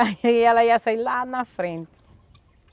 Aí ela ia sair lá na frente.